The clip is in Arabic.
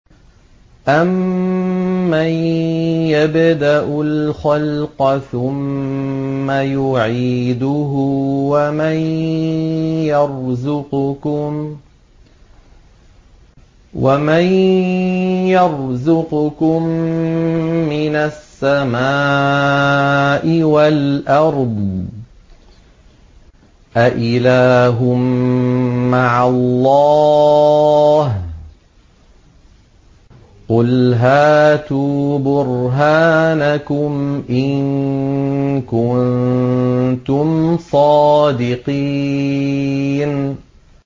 أَمَّن يَبْدَأُ الْخَلْقَ ثُمَّ يُعِيدُهُ وَمَن يَرْزُقُكُم مِّنَ السَّمَاءِ وَالْأَرْضِ ۗ أَإِلَٰهٌ مَّعَ اللَّهِ ۚ قُلْ هَاتُوا بُرْهَانَكُمْ إِن كُنتُمْ صَادِقِينَ